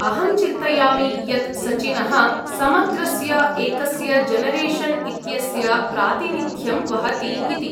अहं चिन्तयामि यत्, सचिनः समग्रस्य एकस्य जनरेशन् इत्यस्य प्रातिनिध्यं वहति इति।